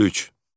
53.